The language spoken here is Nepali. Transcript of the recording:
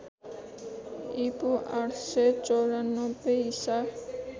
ईपू ८९४ ईसा